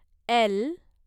L